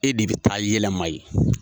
E de bi taa yɛlɛma yen.